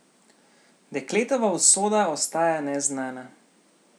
Dekletova usoda ostaja neznana.